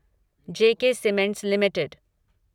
J K cements limited